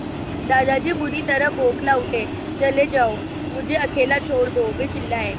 दादाजी बुरी तरह बौखला उठे चले जाओ मुझे अकेला छोड़ दो वे चिल्लाए